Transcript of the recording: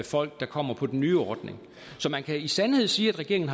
folk der kommer på den nye ordning så man kan i sandhed sige at regeringen